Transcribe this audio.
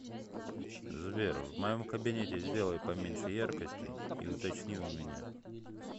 сбер в моем кабинете сделай поменьше яркости и уточни у меня